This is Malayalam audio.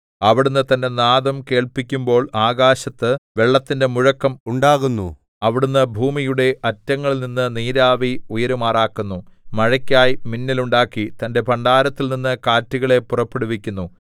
അവിടുന്ന് തന്റെ നാദം കേൾപ്പിക്കുമ്പോൾ ആകാശത്ത് വെള്ളത്തിന്റെ മുഴക്കം ഉണ്ടാകുന്നു അവിടുന്ന് ഭൂമിയുടെ അറ്റങ്ങളിൽനിന്ന് നീരാവി ഉയരുമാറാക്കുന്നു മഴയ്ക്കായി മിന്നൽ ഉണ്ടാക്കി തന്റെ ഭണ്ഡാരത്തിൽനിന്ന് കാറ്റുകളെ പുറപ്പെടുവിക്കുന്നു